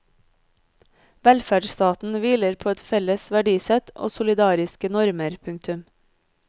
Velferdsstaten hviler på et felles verdisett og solidariske normer. punktum